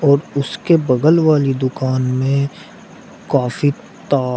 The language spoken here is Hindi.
और उसके बगल वाली दुकान में काफी तार--